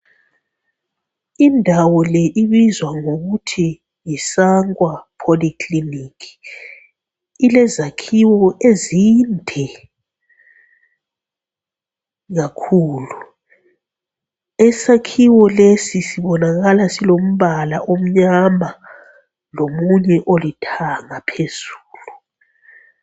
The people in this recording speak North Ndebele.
Indawo le ibizwa ngokuthi yi Sangwa Poly Clinic. Ilezakhiwo ezinde kakhulu. Isakhiwo lesi sibonakala silombala omnyama lomunye olithanga phezulu.